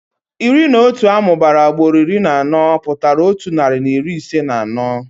Iri na otu amụbara ugboro iri na anọ pụtara otu narị na iri ise na anọ.